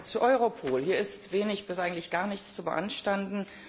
Zu Europol Hier ist wenig, fast eigentlich gar nichts zu beanstanden.